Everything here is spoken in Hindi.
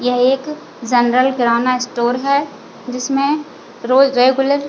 यह एक ज़नरल किराना स्टोर है जिसमे रोज रेगुलर --